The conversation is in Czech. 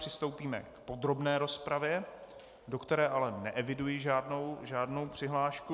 Přistoupíme k podrobné rozpravě, do které ale neeviduji žádnou přihlášku.